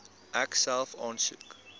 ek self aansoek